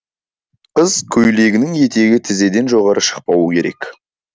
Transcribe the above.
қыз көйлегінің етегі тізеден жоғары шықпауы керек